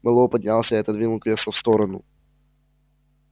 мэллоу поднялся и отодвинул кресло в сторону